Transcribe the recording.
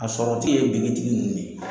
A sɔrɔtigi ye ninnu de ye.